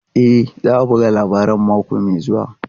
E, za a buga labarin mako mai zuwa.